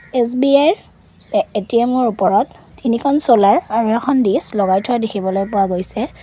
SBI ৰ এ ATM ৰ ওপৰত তিনিখন চলাৰ আৰু এখন দিছ লগাই থোৱা দেখিবলৈ পোৱা গৈছে।